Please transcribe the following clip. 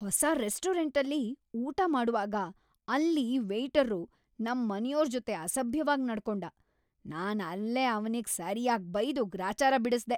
ಹೊಸ ರೆಸ್ಟೋರಂಟಲ್ಲಿ ಊಟ ಮಾಡ್ವಾಗ ಅಲ್ಲೀ ವೇಯ್ಟರ್ರು ನಮ್ ಮನೆಯೋರ್‌ ಜೊತೆ ಅಸಭ್ಯವಾಗ್‌ ನಡ್ಕೊಂಡ, ನಾನ್‌ ಅಲ್ಲೇ ಅವ್ನಿಗ್‌ ಸರ್ಯಾಗ್‌ ಬೈದು ಗ್ರಾಚಾರ ಬಿಡಿಸ್ದೆ.